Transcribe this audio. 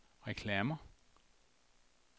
reklamer